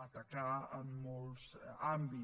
atacar en molts àmbits